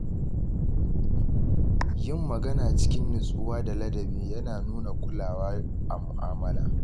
Yin magana cikin nutsuwa da ladabi yana nuna kulawa a mu’amala.